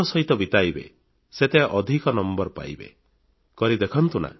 ଏହି ସମୟକୁ ଯେତେ ଆନନ୍ଦର ସହିତ ବିତାଇବେ ସେତେ ଅଧିକ ନମ୍ବର ପାଇବେ କରି ଦେଖନ୍ତୁ ନା